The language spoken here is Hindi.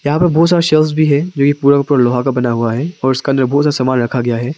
यहां पर बहुत सारा सेल्फ है जो ये पूरा का पूरा लोहे का बना हुआ है और उसका अंदर बहुत सा सामान रखा गया है।